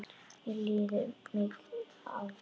Mér liggur mikið á!